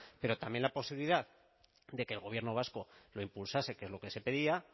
pero también la posibilidad de que el gobierno vasco lo impulsase que es lo que se pedía